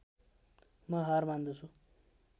म हार मान्दछु